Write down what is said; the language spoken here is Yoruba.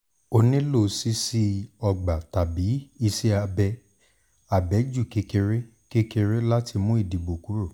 o lè nílò ṣíṣí ọgbà tàbí ìṣẹ̀ abẹ́ abẹ́jú kékeré kékeré láti mú ìdìbò kúrò